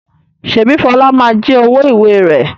Ṣèbí Fọlá ma jí àwo-ìwẹ̀ rẹ̀?